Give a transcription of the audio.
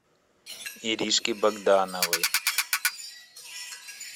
иришки богдановой